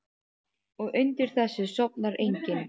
Og undir þessu sofnar enginn.